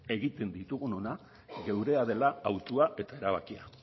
egiten ditugunonak geurea dela autua eta erabakia